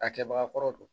A kɛbaga kɔrɔ don